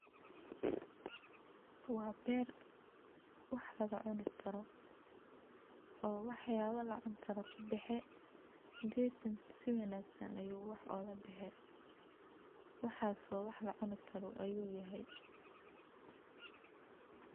Waa beer waax laga cuuni karo oo waax yaba la cuuni karo ka baxe, geedkan si wanaagsan ayu waax oga baxee , waaxas oo wax la cuuni karo ayu yahay .